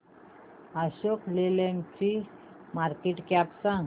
Ashok Leyland ची market cap सांगा